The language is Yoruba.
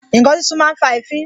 Ǹkan sísun máa ń fa èéfín